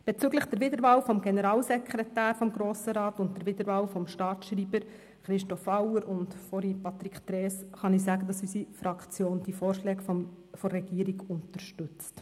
Bezüglich der Wiederwahl des Generalsekretärs des Grossen Rats, Patrick Trees, und der Wiederwahl des Staatsschreibers, Christoph Auer, kann ich sagen, dass unsere Fraktion die Vorschläge der Regierung unterstützt.